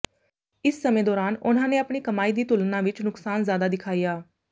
ਇਸ ਸਮੇਂ ਦੌਰਾਨ ਉਨ੍ਹਾਂ ਨੇ ਆਪਣੀ ਕਮਾਈ ਦੀ ਤੁਲਨਾ ਵਿਚ ਨੁਕਸਾਨ ਜ਼ਿਆਦਾ ਦਿਖਾਇਆ